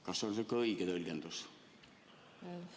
Kas see on õige tõlgendus?